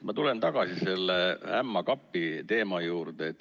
Ma tulen tagasi selle ämma kapi teema juurde.